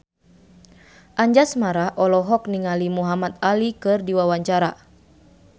Anjasmara olohok ningali Muhamad Ali keur diwawancara